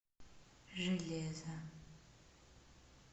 железо